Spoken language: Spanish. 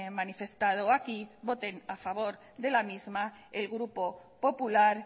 manifestado aquí voten a favor de la misma el grupo popular